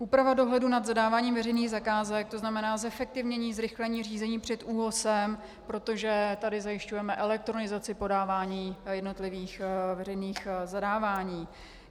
Úprava dohledu nad zadáváním veřejných zakázek, to znamená zefektivnění, zrychlení řízení před ÚOHS, protože tady zajišťujeme elektronizaci podávání jednotlivých veřejných zadávání.